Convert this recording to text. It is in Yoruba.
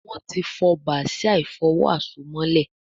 Wón tí fó Bàsíà ìfọ̀wo àsomọ́lẹ̀